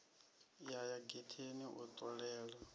ya ya getheni u ṱolela